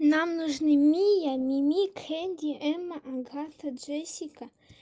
нам нужны миа ми ми кэнди эмма агата джессика